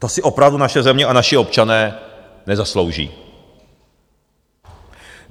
To si opravdu naše země a naši občané nezaslouží.